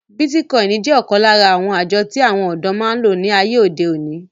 Bítíkọìnì jẹ́ ọ̀kán lára àwọn àjọ tí àwọn ọ̀dọ́ máa ń lò ní àyè òde òní